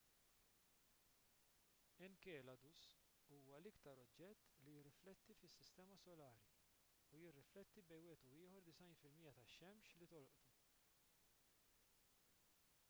enceladus huwa l-iktar oġġett li jirrifletti fis-sistema solari u jirrifletti bejn wieħed u ieħor 90 fil-mija tax-xemx li tolqtu